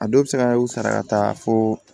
A dɔw bɛ se ka u sara ka taa fo